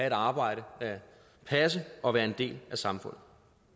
et arbejde at passe og være en del af samfundet